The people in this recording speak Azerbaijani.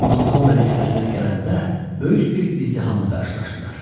Montqomeri küçəsinə gələndə böyük bir izdihamla qarşılaşdılar.